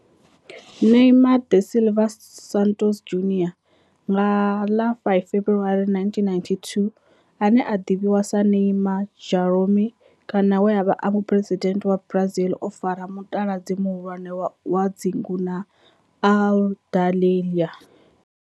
Neymar da Silva Santos Junior, nga ḽa 5 February 1992, ane a ḓivhiwa sa Ne'ymar' Jeromme kana we a vha e muphuresidennde wa Brazil o fara mutaladzi muhulwane wa dzingu na Aludalelia.